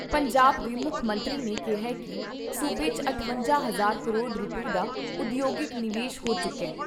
ਪੰਜਾਬ ਦੇ ਮੁੱਖ ਮੰਤਰੀ ਨੇ ਕਿਹਾ ਕਿ ਸੂਬੇ 'ਚ ਅਠਵੰਜਾ ਹਜ਼ਾਰ ਕਰੋੜ ਰੁਪਏ ਦਾ ਉਦਯੋਗਿਕ ਨਿਵੇਸ਼ ਹੋ ਚੁੱਕਾ ।